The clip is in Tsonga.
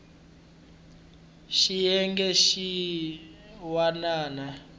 swa xiyenge xin wana na